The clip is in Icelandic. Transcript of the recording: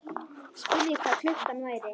Spurði hvað klukkan væri.